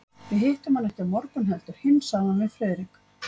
Við hittum hann ekki á morgun heldur hinn sagði hann við Friðrik.